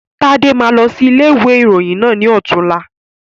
Tade máa lọ sí ilé ìwé ìròyìn náà ni ọ̀tunla